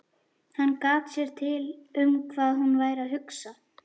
Hann gat sér til um hvað hún væri að hugsa.